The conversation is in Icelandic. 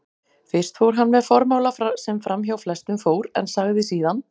Fyrst fór hann með formála sem framhjá flestum fór, en sagði síðan